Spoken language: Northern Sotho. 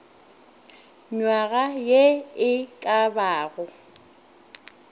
nywaga ye e ka bago